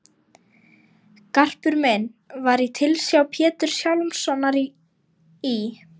Garpur minn var í tilsjá Péturs Hjálmssonar í